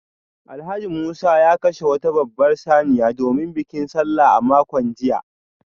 Alhaji Musa ya kashe wata babbar saniya domin bikin Sallah a makon jiya